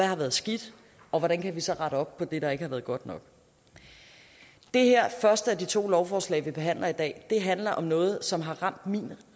har været skidt og hvordan vi så kan rette op på det der ikke har været godt nok det her første af de to lovforslag vi behandler i dag handler om noget som har ramt min